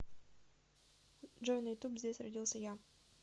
джой на ютуб здесь родился я